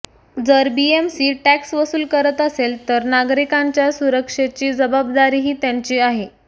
जर BMC tax वसूल करत असेल तर नागरिकांच्या सुरक्षेची जबाबदारीही त्यांची आहे